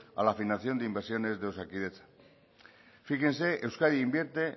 a la afinación de inversiones de osakidetza fíjense euskadi invierte